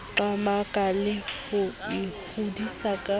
qamaka le ho ikgodisa ka